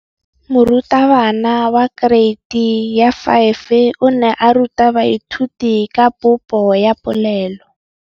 Moratabana wa kereiti ya 5 o ne a ruta baithuti ka popô ya polelô.